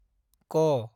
क